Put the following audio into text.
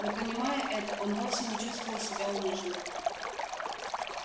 но понимая это он вовсе не чувствовал себя униженным